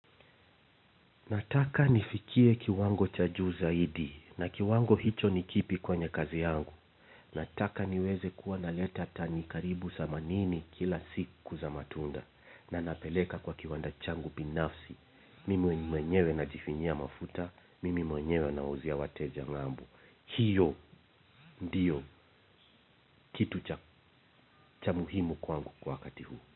Nataka nifikie kiwango cha juu zaidi na kiwango hicho nikipi kwenye kazi yangu. Nataka niweze kuwa na leta tani karibu themanini kila siku za matunda na napeleka kwa kiwanda changu binafsi. Mimi mwenyewe na jifinyia mafuta, mimi mwenyewe nawauzia wateja ngambo. Hiyo ndiyo kitu cha muhimu kwangu kwa wakati huu.